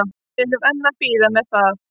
Við erum að bíða með það.